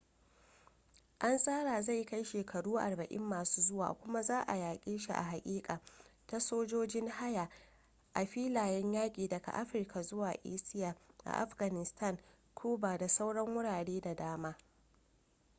an tsara zai kai shekaru 40 masu zuwa kuma za ayi yaƙe shi a hakika, ta sojojin haya a filayen yaƙi daga africa zuwa asia a afghanistan cuba da sauran wurare da dama